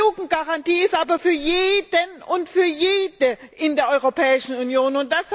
Die Jugendgarantie ist aber für jeden und für jede in der Europäischen Union.